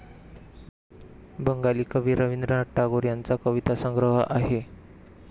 बंगाली कवि रविंद्रनाथ टागोर यांचा कवितांचा संग्रह आहे.